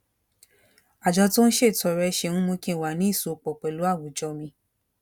àjọ tó ń ṣètọrẹ ṣe ń mú kí n wà ní ìsopò pẹlú àwùjọ mi